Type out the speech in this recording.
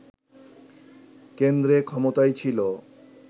কেন্দ্রে ক্ষমতায় ছিল